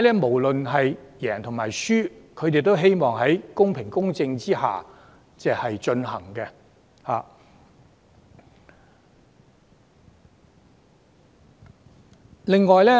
無論當選與否，候選人都希望選舉能公平公正地進行。